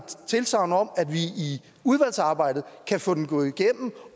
tilsagn om at vi i udvalgsarbejdet kan få den gået igennem